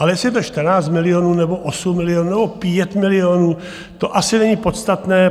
Ale jestli je to 14 milionů, nebo 8 milionů, nebo 5 milionů, to asi není podstatné.